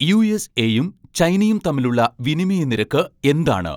യുഎസ്എയും ചൈനയും തമ്മിലുള്ള വിനിമയ നിരക്ക് എന്താണ്